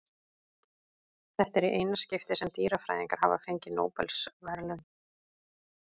Þetta er í eina skiptið sem dýrafræðingar hafa fengið Nóbelsverðlaun.